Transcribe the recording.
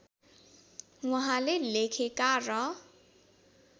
उहाँले लेखेका र